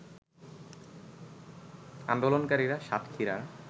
আন্দোলনকারীরা সাতক্ষীরার